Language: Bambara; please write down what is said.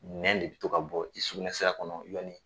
Nɛn de bi tɔ ka bɔ i sukunɛsira kɔnɔ ya ni